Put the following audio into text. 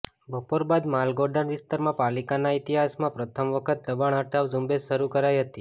બપોર બાદ માલગોડાઉન વિસ્તારમાં પાલિકાના ઈતિહાસમાં પ્રથમ વખત દબાણ હટાવ ઝુંબેશ શરૂ કરાઈ હતી